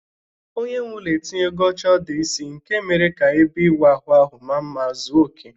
Onyenweụlọ etinyego oche ọdụ isi nke mere ka ebe ịwụ ahụ ahụ maa mma ma zuo okè.